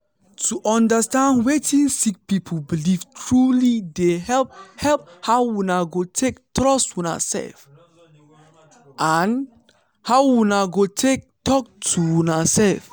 to understand wetin sick people belief truely dey help help how una go take trust una self and how una go take talk to una self.